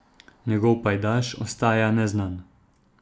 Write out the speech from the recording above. Njegov pajdaš ostaja neznan.